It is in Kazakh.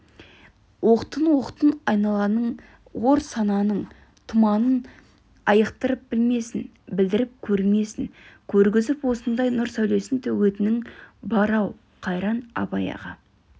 оқтын-оқтын айналаның ор сананың тұманын айықтырып білмесін білдіріп көрмесін көргізіп осындай нұр сәулесін төгетінің бар-ау қайран абай аға